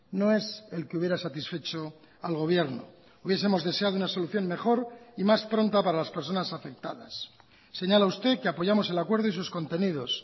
no es el que hubiera satisfecho al gobierno hubiesemos deseado una solución mejor y más pronta para las personas afectadas señala usted que apoyamos el acuerdo y sus contenidos